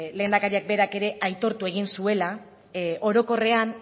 lehendakariak berak ere aitortu egin zuela orokorrean